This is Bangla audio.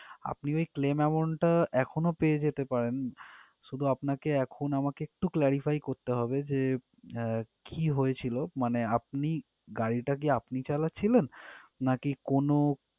আপনি ওই claim amount টা এখনো পেয়ে যেতে পারেন শুধু আপনাকে এখন আমাকে একটু clarify করতে হবে যে আহ কি হয়েছিল মানে আপনি গাড়ি টা কি আপনি চালাচ্ছিলেন নাকি কোনো।